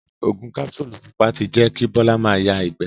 Ògùn kapsulu pupa ti jẹ kí Bola ma ya ìgbé.